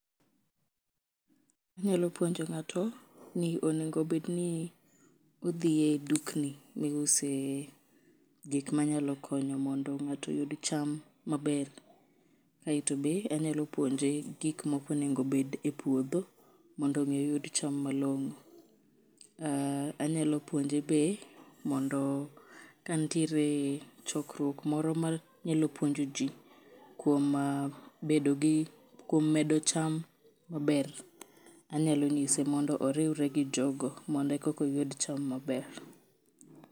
Inyalo puonjo ng'ato ni onego bed ni odhi e dukni mi use gik manyalo konyo mondo ng'ato oyud cham maber, kae to be anyalo puonje gik moko nego bed e puodho mondo mi oyud cham malong'o ,anyalo puonje be mondo ka nitiere chokruok moro manyalo puonj ji kuom medo cham maber anyalo nyise mondo oriwre gi jogo mondo koka oyud cham maber .